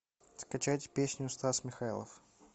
скачать песню стас михайлов